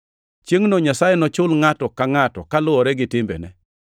Chiengʼno Nyasaye “nochul ngʼato ka ngʼato kaluwore gi timbene.” + 2:6 \+xt Zab 62:12; Nge 24:12\+xt*